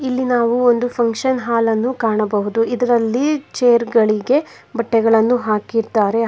ಇಲ್ಲಿ ನಾವು ಒಂದು ಫಂಕ್ಷನ್ ಹಾಲ್ ಅನ್ನು ಕಾಣಬಹುದು ಇದರಲ್ಲಿ ಚೇರ್ ಗಳಿಗೆ ಬಟ್ಟೆಗಳನ್ನು ಹಾಕಿದ್ದಾರೆ.